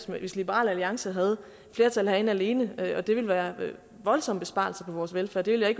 hvis liberal alliance havde flertal herinde alene og det ville være voldsomme besparelser på vores velfærd det ville